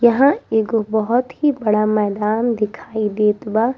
यहाँ एगो बहुत ही बड़ा मैदान देखाई देत बा।